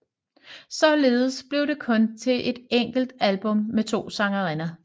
Således blev det kun til et enkelt album med to sangerinder